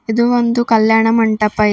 ಇದು ಒಂದು ಕಲ್ಯಾಣ ಮಂಟಪ ಇದೆ.